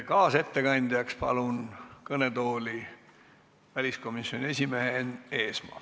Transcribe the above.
Kaasettekandjaks palun kõnetooli väliskomisjoni esimehe Enn Eesmaa.